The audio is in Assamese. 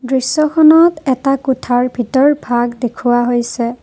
দৃশ্যখনত এটা কোঠাৰ ভিতৰভাগ দেখুৱা হৈছে।